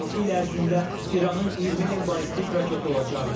Altı il ərzində İranın 20 min ballistik raketi olacaqdı.